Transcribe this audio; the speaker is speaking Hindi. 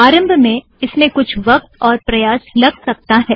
आरम्भ मैं इस में कुछ वक़्त और प्रयास लग सकता है